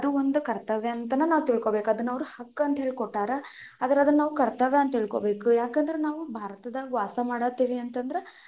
ಒಂದು ಕರ್ತವ್ಯ ಅಂತನ ನಾವು ತಿಳ್ಕೋಬೇಕು ಅದನ್ನ ಅವ್ರು ಹಕ್ಕಂತ ಕೊಟ್ಟಾರ, ಆದ್ರ ಅದನ್ನ ನಾವ ಹಕ್ಕು ಅಂತ ತಿಳ್ಕೋಬೇಕು ಯಾಕಂದ್ರ ನಾವು ಭಾರತದಾಗ ವಾಸಾ ಮಾಡ ಹತೀವಿ ಅಂತ ಅಂದ್ರ,